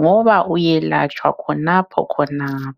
ngoba uyelatshwa khonapho khonapho